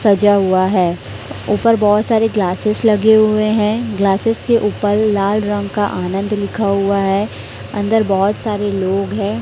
सजा हुआ है ऊपर बहोत सारे ग्लासेस लगे हुए हैं ग्लासेस के ऊपर लाल रंग का आनंद लिखा हुआ है अंदर बहोत सारे लोग हैं।